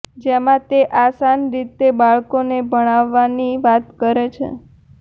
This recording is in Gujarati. જેમાં તે આસાન રીતે બાળકોન ભણાવવાની વાત કરે છે